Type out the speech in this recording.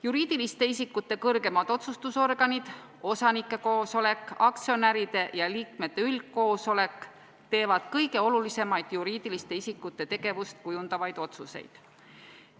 Juriidiliste isikute kõrgemad otsustusorganid – osanike koosolek, aktsionäride ja liikmete üldkoosolek – teevad kõige olulisemaid juriidiliste isikute tegevust kujundavaid otsuseid.